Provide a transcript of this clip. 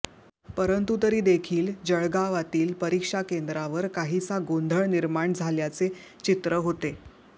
परंतु तरी देखील जळगावातील परीक्षा केंद्रावर काहीसा गोंधळ निर्माण झाल्याचे चित्र होते